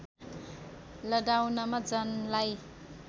लडाउनमा जनलाई